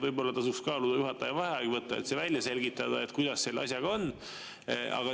Võib-olla tasuks kaaluda juhataja vaheaeg võtta, et välja selgitada, kuidas selle asjaga on.